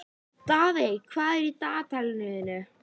Daðey, hvað er í dagatalinu í dag?